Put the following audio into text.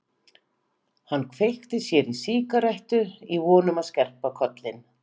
Hann kveikti sér í sígarettu í von um að skerpa kollinn.